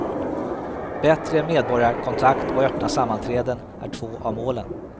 Bättre medborgarkontakt och öppna sammanträden är två av målen.